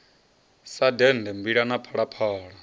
sa dende mbila na phalaphala